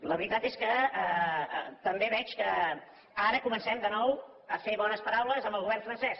la veritat és que també veig que ara comencem de nou a fer bones paraules amb el govern francès